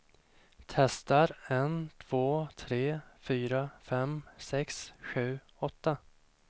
Testar en två tre fyra fem sex sju åtta.